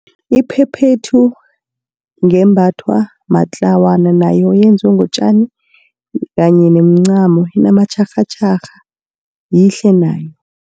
Iphephethu ngembathwa matlawana nayo yenziwe ngotjani kanye nemncamo inamatjharhatjharha yihle nayo.